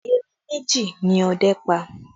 Erin méjì ni ọdẹ́ pa